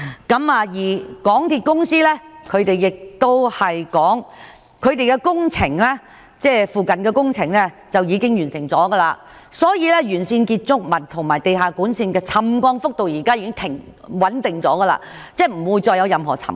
港鐵公司則表示，土瓜灣站附近的工程已經完成，建築物和地下管線的沉降幅度現時已穩定下來，即不會再出現任何沉降。